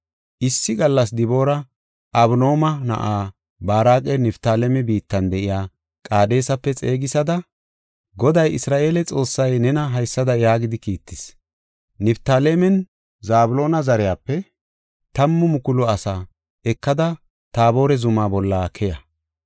Issi gallas Diboora Abinooma na7aa Baaraqa Niftaaleme biittan de7iya Qaadesape xeegisada, “Goday Isra7eele Xoossay nena haysada yaagidi kiittis; ‘Niftaalemenne Zabloona zariyape tammu mukulu asaa ekada Taabore zumaa bolla keya.